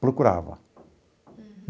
Procurava. Uhum.